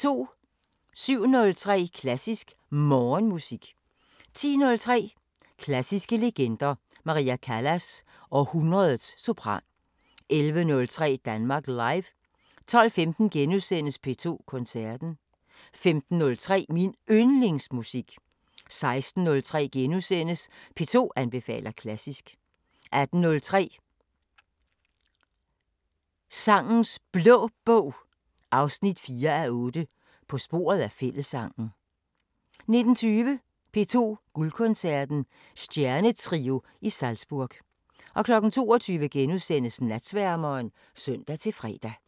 07:03: Klassisk Morgenmusik 10:03: Klassiske legender: Maria Callas – Århundredets sopran 11:03: Danmark Live 12:15: P2 Koncerten * 15:03: Min Yndlingsmusik 16:03: P2 anbefaler klassisk * 18:03: Sangenes Blå Bog 4:8 – På sporet af fællessangen 19:20: P2 Guldkoncerten: Stjernetrio i Salzburg 22:00: Natsværmeren *(søn-fre)